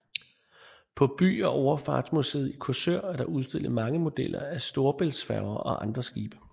På By og Overfartsmuseet i Korsør er der også udstillet mange modeller af Storebæltsfærger og andre skibe